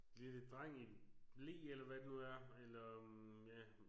Lille dreng i en ble eller hvad det nu er eller øh ja